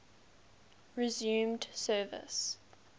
resumed service